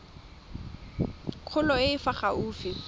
kgolo e e fa gaufi